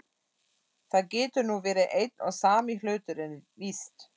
Það getur nú verið einn og sami hluturinn, víst.